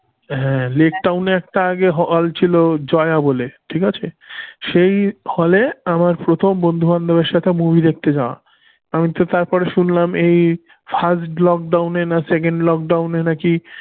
হাঁ লেকটাউনে আগে একটা hall ছিল জয়া বলে, ঠিক আছে সেই hall আমার প্রথম বন্ধু বান্ধবের সাথে movie দেখতে যাওয়া বন্ধুদের আমি তো তারপরে শুনলাম এই first lockdown এ না second lockdown এ নাকি